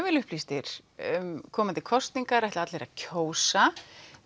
vel upplýstir um komandi kosningar ætla allir að kjósa